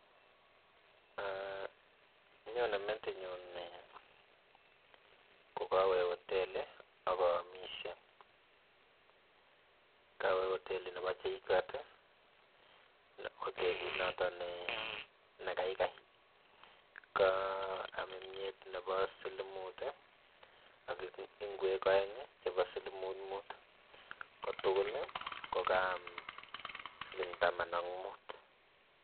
nyonee metin nyun ko kawee hoteli aka kaamishe, kawee otelit nebaa jkuat, hotelit notok ne gaigai, kaam myet nebaa siling mut ak ngwekek aeng neba siling mut mut, ko tugul kaam siling taman ak mut